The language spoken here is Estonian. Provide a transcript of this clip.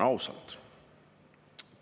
Ausalt.